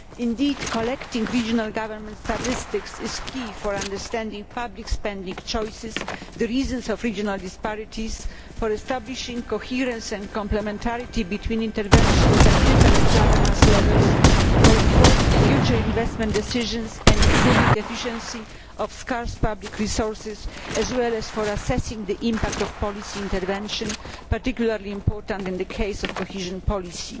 Indeed, collecting regional government statistics is key to understanding public spending choices and the reasons for regional disparities, for establishing coherence and complementarity between interventions and different governance levels, for informing future investment decisions and improving the efficiency of scarce public resources, as well as for assessing the impact of policy intervention, which is particularly important in the case of cohesion policy.